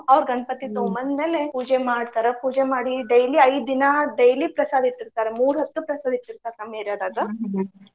ಅವ್ರ್ ಗಣಪತಿ ಬಂದ್ಮೇಲೆ ಪೂಜೆ ಮಾಡ್ತಾರ. ಪೂಜೆ ಮಾಡಿ daily ಐದ್ ದಿನಾ daily ಪ್ರಸಾದ ಇಟ್ಟಿರ್ತಾರ ಮೂರ್ ಹೊತ್ತು ಪ್ರಸಾದ್ ಇಟ್ಟಿರ್ತಾರ್ ನಮ್ಮ್ .